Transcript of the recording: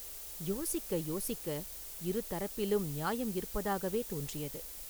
யோசிக்க யோசிக்க, இரு தரப்பிலும் நியாயம் இருப்பதாகவே தோன்றியது.